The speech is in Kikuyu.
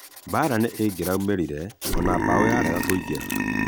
"Baraa nĩ ĩngĩraumerire ona bao yarega kũingera."